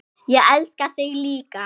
Ég elska þig líka.